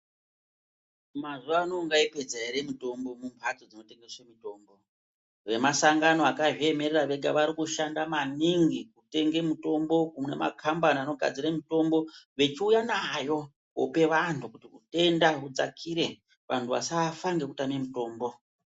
Mazuwa ano ungaipedza ere mutombo mumhatso dzinotengese mutombo vemasangano vakazviemerera vega vari kushanda maningi kutenge mutombo kumakambani anogadzire mutombo vechiuya nayo koope vantu kuti utenda hudzakire vantu vasafa ngekutame mutombo.